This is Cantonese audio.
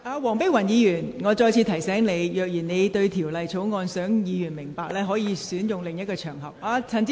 黃碧雲議員，我再次提醒你，如你想讓委員明白該條例草案，你可選擇另一場合。